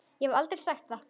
Ég hefði aldrei sagt það.